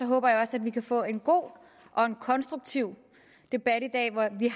håber jeg også at vi kan få en god og en konstruktiv debat i dag hvor vi